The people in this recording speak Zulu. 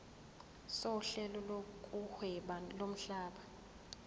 sohlelo lokuhweba lomhlaba